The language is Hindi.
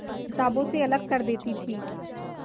किताबों से अलग कर देती थी